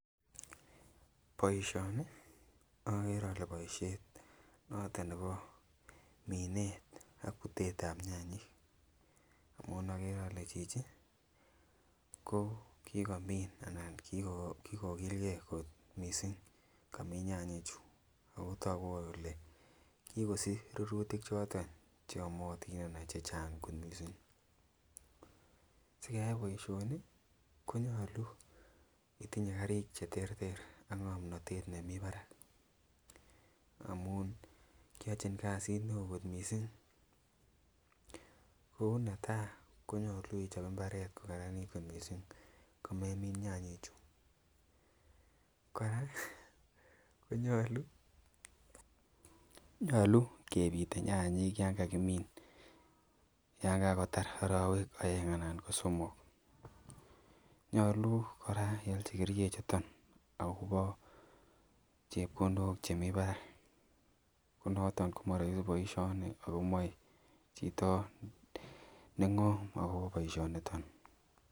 Boishoni okere ole boishet noton nebo minet ak butet ab nyanyik amun okere ole chichi ko kikomin anan kikokil gee kot missing komiin nyanyik chuu otoku kole kikosich rurutik choton cheyomotin anan chechang kot missing, sikeyai boishoni konyolu itinyee karik cheterter ak ngomnotet nemii barak amun kiochin kasit neo kot missing . Ko netai konyolu ichob imbaret kokaranit kot missing ko memin nyanyik chuu, Koraa konyolu kepite nyanyik yon kakimin yon kakotar orowek oeng anan ko somok, nyolu Koraa iolchi kerichek chuton akobo chepkondok chemii barak ko noton ko moroisi boishoni ako moi chito nengom akobo boishoniton.